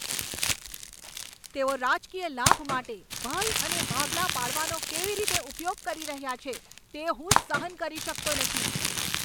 તેઓ રાજકીય લાભ માટે ભય અને ભાગલા પાડવાનો કેવી રીતે ઉપયોગ કરી રહ્યા છે તે હું સહન કરી શકતો નથી.